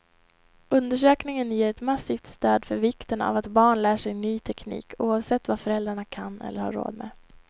Undersökningen ger ett massivt stöd för vikten av att barn lär sig ny teknik, oavsett vad föräldrarna kan eller har råd med.